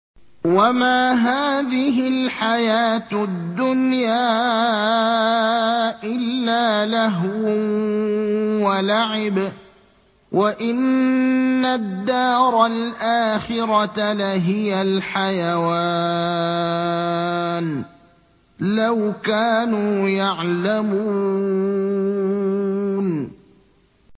وَمَا هَٰذِهِ الْحَيَاةُ الدُّنْيَا إِلَّا لَهْوٌ وَلَعِبٌ ۚ وَإِنَّ الدَّارَ الْآخِرَةَ لَهِيَ الْحَيَوَانُ ۚ لَوْ كَانُوا يَعْلَمُونَ